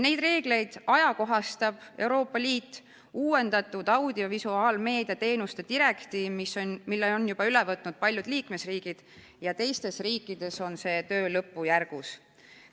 Neid reegleid ajakohastab Euroopa Liidu uuendatud audiovisuaalmeedia teenuste direktiiv, mille on juba üle võtnud paljud liikmesriigid ja ülejäänud riikides on see töö lõppjärgus.